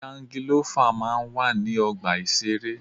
Jangilọ́fà máa ń wà ní ọgbà ìṣeré.